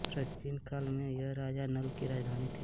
प्राचीन काल में यह राजा नल की राजधानी थी